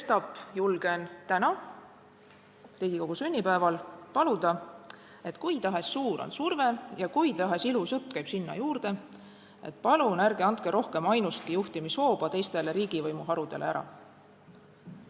Sestap julgen täna Riigikogu sünnipäeval paluda: kui tahes suur on surve ja kui tahes ilus jutt käib sinna juurde, palun ärge andke rohkem ainustki juhtimishooba teistele riigivõimu harudele ära!